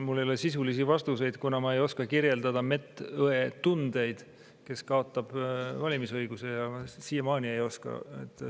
Mul ei ole sisulisi vastuseid, kuna ma ei oska kirjeldada medõe tundeid, kes kaotab valimisõiguse.